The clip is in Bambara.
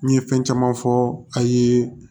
N ye fɛn caman fɔ a ye